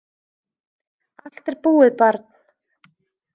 Allt er búið, barn.